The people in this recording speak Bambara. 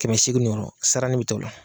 Kɛmɛ seegin ɲɔgɔn a saranin bi taa o la.